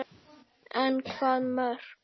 En hvaða mörk?